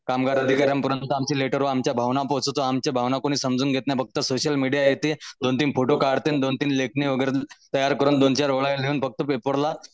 कामगार अधिकाऱ्यांपर्यंत आमचे लेटर व आमच्या भावना पोहोचवतो आमच्या भावना कोणीही समजून घेत नाही फक्त सोशल मीडिया येते दोन तीन फोटो काढते आणि लेखणी वगैरे तयार करून दोन चार फक्त पेपरला